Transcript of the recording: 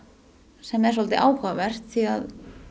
sem er svolítið áhugavert því að